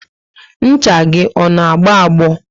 Ncha gị ọ na agbo agbo?